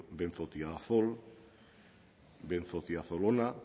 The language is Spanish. benzotiazol benzotiazolona